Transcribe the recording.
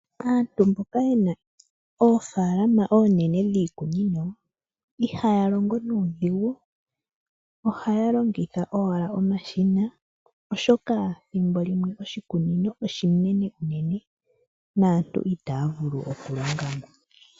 Aantu mboka yena oofaalama oonene dhiikunino ihaya longo nuudhigu, ohaya longitha owala omashina oshoka thimbo limwe oshikunino oshinene unene naantu itaya vulu oku longamo.